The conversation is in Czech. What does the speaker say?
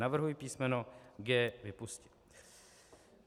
Navrhuji písmeno g) vypustit.